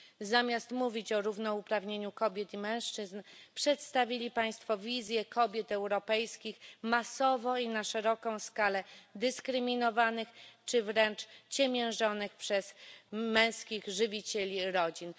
Zamiast mówić o równouprawnieniu kobiet i mężczyzn przedstawili Państwo wizję kobiet europejskich masowo i na szeroką skalę dyskryminowanych czy wręcz ciemiężonych przez męskich żywicieli rodzin.